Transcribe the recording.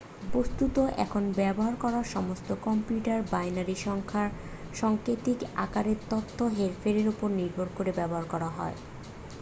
বস্তুত এখন ব্যবহার করা সমস্ত কম্পিউটার বাইনারি সংখ্যার সাংকেতিক আকারে তথ্যের হেরফেরের উপর নির্ভর করে ব্যবহার করা হয়